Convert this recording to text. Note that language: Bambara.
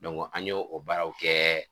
an y'o o baaraw kɛ